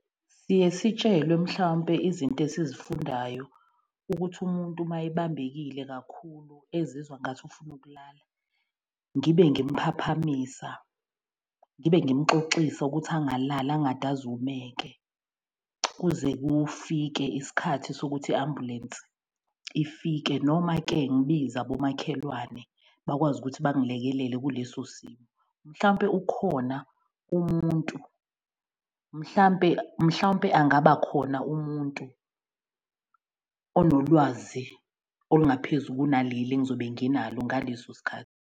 Siye sitshelwe mhlawumpe izinto esizifundayo ukuthi umuntu uma ebambekile kakhulu ezizwa ngathi ufuna ukulala ngibe ngimuphaphamisa, ngibe ngimuxoxisa ukuthi angalali angade azumeke kuze kufike isikhathi sokuthi i-ambulensi ifike. Noma-ke ngibize abomakhelwane bakwazi ukuthi bangilekelele kuleso simo. Mhlampe ukhona umuntu mhlampe mhlawumpe angaba khona umuntu onolwazi olungaphezu kunaleli engizobe nginalo ngaleso sikhathi.